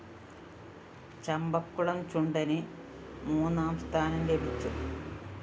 ചമ്പക്കുളംചുണ്ടന് മൂന്നാം സ്ഥാനം ലഭിച്ചു